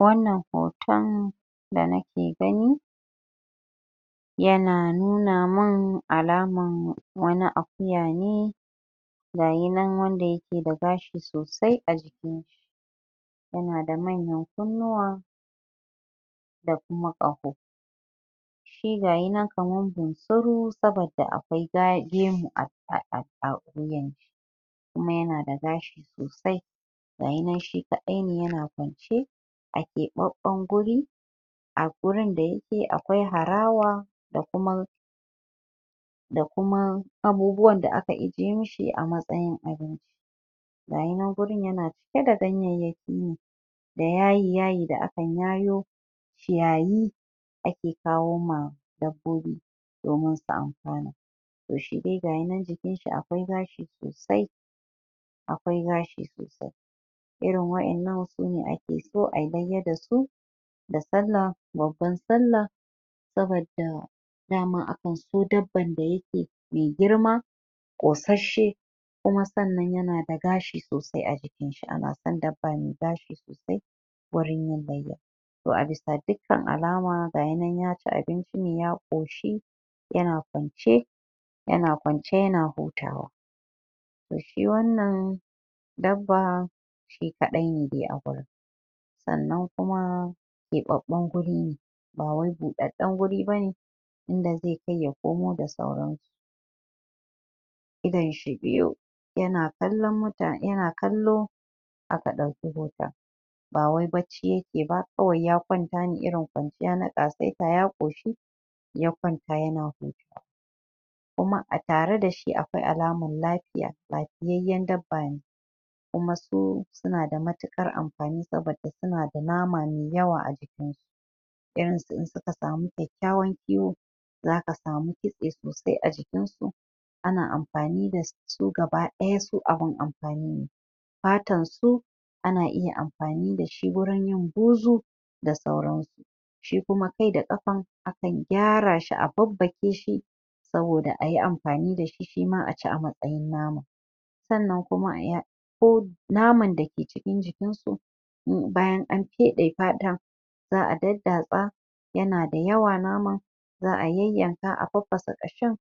Wannan hoton da nake gani yana nuna mun alaman wani akuya ne gayi nan wanda yake da gashi sosai a jikinshi yanada manyan kunnuwa da kuma ƙaho shi gayi nan kaman bunsuru sabadda akwai ga.. gemu a a a wuyanshi kuma yanada gashi sosai gayi nan shi kaɗai ne yana kwance a keɓaɓɓan guri a gurin da yake a akwai harawa da kuma da kuma abubuwan da aka ijiye mishi a matsayin abinci gayi nan gurin yana cike da ganyeyyaki ne da yaayi-yaayi da akan yaayo ciyayi ake kawo ma dabbobi domin su amfana toh shi dai gayi nan jikinshi akwai gashi sosai akwai gashi sosai irin wa'innan sune ake so ayi layya dasu da sallah, babban sallah sabadda daman akan so dabban da yake mai girma ƙosasshe kuma sannan yanada gashi sosai a jikinshi, ana son dabba mai gashi wurin yin layya toh a bisa dukkan alama gayi nan ya ci abincin ya ƙoshi yana kwance yana kwance yana hutawa toh! shi wannan dabbaa shi kaɗai ne dai a gurin sannan kuma keɓaɓɓun gurine ba wani buɗaɗɗan guri bane inda zai kai ya komo da sauransu idonshi biyu yana kallon muta.. yana kallo aka ɗauki hoton bawai bacci yake ba kawai ya kwanta ne irin kwanciya na ƙasaita, ya ƙoshi ya kwanta yana hutawa kuma a tare da shi akwai alaman lafiya lafiyayyen dabba ne kuma su sunada matuƙar amfani sabadda suna da nama mai yawa a jikinsu irinsu in suka sami kyakkyawan kiwo zaka samu kitse sosai a jikinsu ana amfani dasu su gaba ɗaya su abun amfani ne fatan su ana iya amfani da shi gurin yin buzu da sauransu shi kuma kai da ƙafan akan gyara shi a babbake shi saboda ayi amfani dashi shima aci a matsayin nama sannan kuma a yan ko naman dake cikin jikinsu in bayan an feɗe fatan za'a daddatsa yanada yawa naman za'a yayyanka a faffasa ƙashin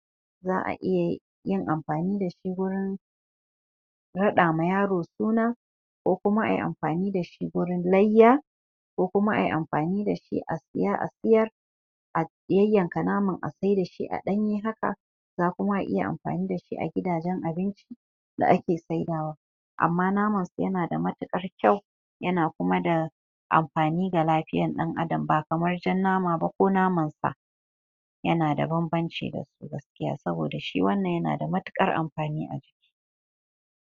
za'a iya yin amfani dashi gurin raɗa ma yaro suna ko kuma ai amfani dashi gurin layya ko kuma ai amafani dashi a siya a siyar a yayyankan naman a saida shi a ɗanye haka za kuma a iya amfani dashi a gidajen abinci da ake saida wa amma naman yanada matuƙar kyau yana kuma da amfani ga lafiyan ɗan adam ba kamar jan nama ba ko naman Sa yanada banbanci gaskiya saboda, shi wannan yanada matuƙar amfani a jiki.